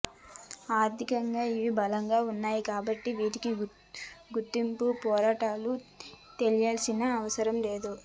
ఆర్థికంగా అవి బలంగా వున్నాయి కాబట్టి వాటికి గుర్తింపు పోరాటాలు చేయాల్సిన అవసరం లేదు